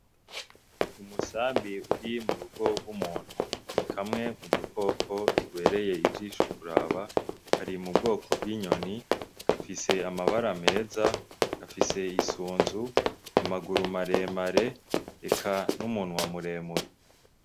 Umusambi uri mu rugo rw'umuntu ni kamwe mu dukoko tubereye ijisho kuraba, kari mu bwoko bw'inyoni, gafise amabara meza, gafise isunzu, amaguru maremare n'umunwa muremure.